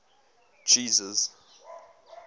jesus